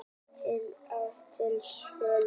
Heilt fjölbýlishús til sölu